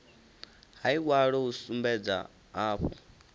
ha iwalo hu sumbedza hafhu